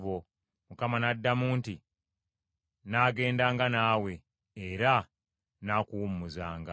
Mukama n’addamu nti, “Nnaagendanga naawe, era nnaakuwummuzanga.”